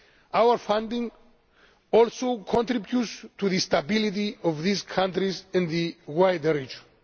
Our funding also contributes to the stability of these countries and the wider region.